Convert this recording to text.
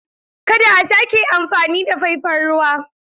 Kada a sake amfani da faifan ruwa!